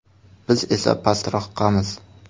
Biz esa pastroqamiz.